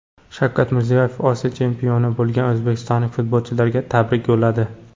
Shavkat Mirziyoyev Osiyo chempioni bo‘lgan o‘zbekistonlik futbolchilarga tabrik yo‘lladi.